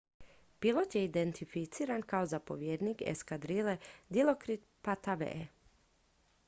pilot je identificiran kao zapovjednik eskadrile dilokrit pattavee